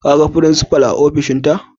Ka gan frincipa'n a ofishin ta?